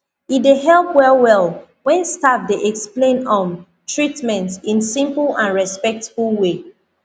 e dey help well well when staff dey explain um treatment in simple and respectful way